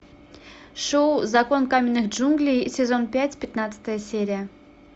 шоу закон каменных джунглей сезон пять пятнадцатая серия